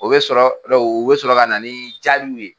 O bɛ sɔrɔ o bɛ sɔrɔ ka na jaabiw ye